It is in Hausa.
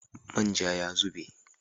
Man ja ya zube.